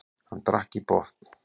Hann drakk í botn.